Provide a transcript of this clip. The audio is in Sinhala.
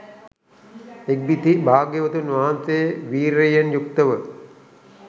ඉක්බිති භාග්‍යවතුන් වහන්සේ වීර්යයෙන් යුක්ත ව